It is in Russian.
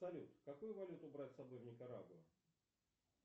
салют какую валюту брать с собой в никарагуа